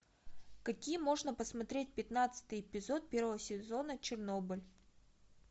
какие можно посмотреть пятнадцатый эпизод первого сезона чернобыль